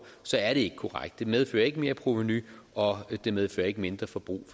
er det ikke korrekt det medfører ikke merprovenu og det medfører ikke mindre forbrug